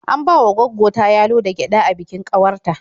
An bawa gwaggo ta yalo da gyaɗa a bikin ƙawar ta.